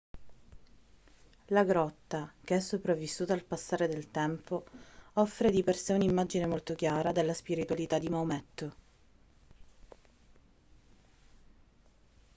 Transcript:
la grotta che è sopravvissuta al passare del tempo offre di per sé un'immagine molto chiara della spiritualità di maometto